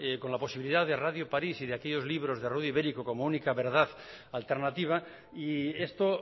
con la posibilidad de radio parís y de aquellos libros de ibérico como única verdad y esto